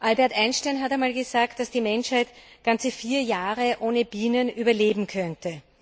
Albert Einstein hat einmal gesagt, dass die Menschheit ganze vier Jahre ohne Bienen überleben könnte.